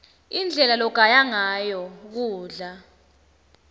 indlela logaya ngayo kudla